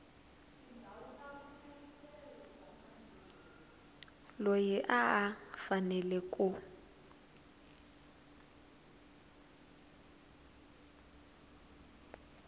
loyi a a fanele ku